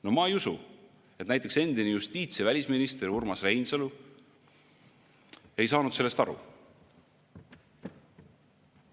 No ma ei usu, et näiteks endine justiits‑ ja välisminister Urmas Reinsalu ei saanud sellest aru.